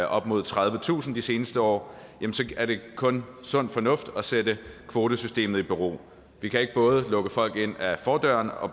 op mod tredivetusind de seneste år er det kun sund fornuft at sætte kvotesystemet i bero vi kan ikke både lukke folk ind ad fordøren og